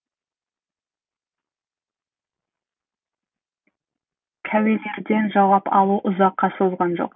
куәлерден жауап алу ұзаққа созылған жоқ